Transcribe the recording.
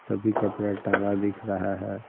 सभी कपड़ा टंगा दिख रहा है।